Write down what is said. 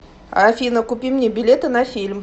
афина купи мне билеты на фильм